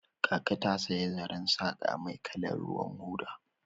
Kaka ta saya zaren saqa mai kalar ruwan hoda.